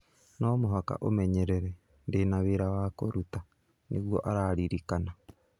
No mũhaka ũmenyerere, ndĩna wĩra wa kũruta, nĩguo araririkana.